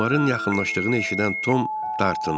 Onların yaxınlaşdığını eşidən Tom dartındı.